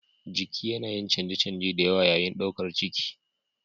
Jiki yana yin canje-canje da yawa yayin ɗaukar ciki.